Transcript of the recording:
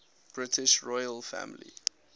british royal family